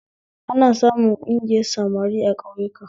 Ana samun ƙungiyar samari a ƙauyaku